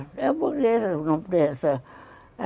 É a burguesa, não.